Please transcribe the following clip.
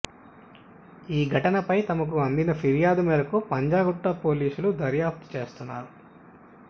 ఈ ఘటనపై తమకు అందిన ఫిర్యాదు మేరకు పంజగుట్ట పోలీసులు దర్యాప్తు చేస్తున్నారు